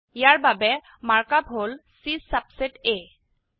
ইয়াৰ বাবে mark up হল C subset A